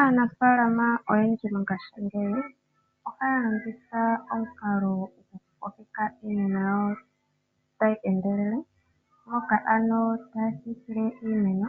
Aanafaalama oyendji mongaashingeyi ohaya longitha omukalo goku kokeka iimeno yawo tayi endelele, moka ano taya siikile iimeno,